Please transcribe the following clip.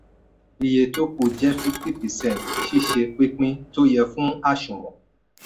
iye tó kù jẹ́ fifty percent ṣíṣe pínpín tó yẹ fún aṣùnwọ̀n.